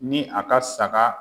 Ni a ka saga